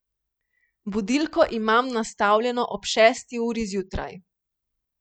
Budilko imam nastavljeno ob šesti uri zjutraj.